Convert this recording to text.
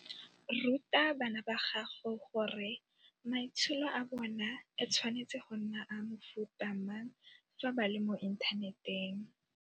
Ruta bana ba gago gore maitsholo a bona e tshwanetse go nna a mofuta mang fa ba le mo inthaneteng.